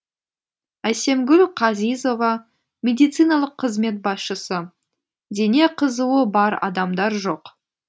әсемгүл қазизова медициналық қызмет басшысы дене қызуы бар адамдар жоқ